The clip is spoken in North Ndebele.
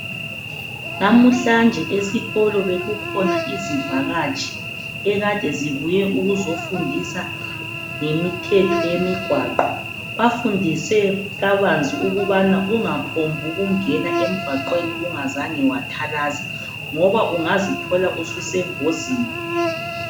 Namuhla nje esikolo bekukhona izivakatshi ekade zibuye ukuzofundisa ngemithetho yemigwaqo. Bafundise kabanzi ukubana ungaphambi ukungena emgwaqweni ungazange wathalaza ngoba ungazithola susengozini.